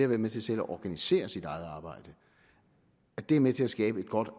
være med til selv at organisere sit eget arbejde er med til at skabe et godt